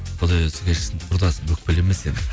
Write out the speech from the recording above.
құдай өзі кешірсін құрдасым өкпелемес енді